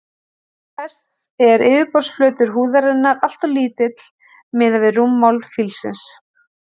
Til þess er yfirborðsflötur húðarinnar alltof lítill miðað við rúmmál fílsins.